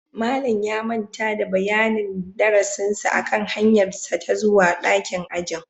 Malam ya manta da bayanin darasinsa akan hanyarsa ta zuwa dakin ajin